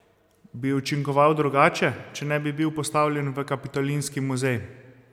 Bi učinkoval drugače, če ne bi bil postavljen v kapitolinski muzej?